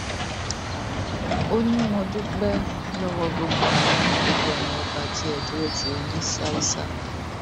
ó ní mo dúpẹ lọwọ gbogbo ẹyin gbogbo ẹyin ọba tí ẹ dúró ti oónisísá